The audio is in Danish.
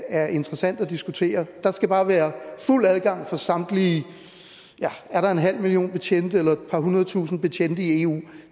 er interessant at diskutere der skal bare være fuld adgang for samtlige ja er der en halv million betjente eller et par hundredetusinde betjente i eu